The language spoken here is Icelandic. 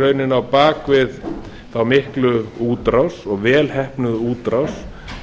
rauninni á bak við þá miklu útrás og þá vel heppnuðu útrás